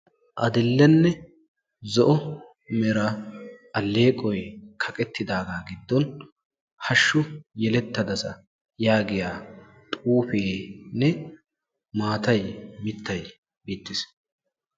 Adil'e zo'o mera eqoyi kaqeettidaagaa giddon hashshu yelettadasa yaagiya xuufeenne qassi maatay mittay beettes.